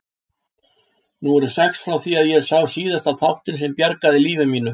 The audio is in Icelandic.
Nú eru sex ár frá því ég sá síðast þáttinn sem bjargaði lífi mínu.